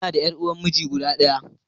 Ina da ƴar uwar miji guda ɗaya.